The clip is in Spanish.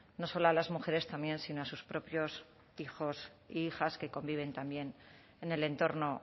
no solo a las mujeres también sino a sus propios hijos e hijas que conviven también en el entorno